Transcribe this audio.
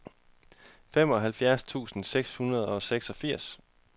femoghalvfjerds tusind seks hundrede og seksogfirs